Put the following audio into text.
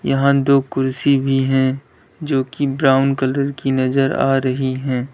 यहां दो कुर्सी भी है जोकि ब्राउन कलर की नजर आ रही है।